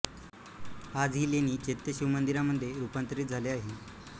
आज ही लेणी चैत्य शिवमंदिरामध्ये रूपांतरित झाले आहे